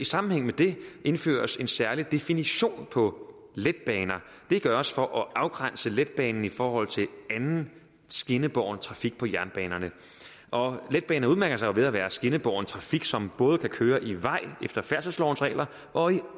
sammenhæng med det indføres en særlig definition på letbaner det gøres for at afgrænse letbanen i forhold til anden skinnebåren trafik på jernbanerne og letbaner udmærker sig jo ved at være skinnebåren trafik som både kan køre i vej efter færdselslovens regler og i